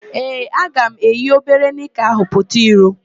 Ee, aga m eyi obere nịka ahụ pụta iro.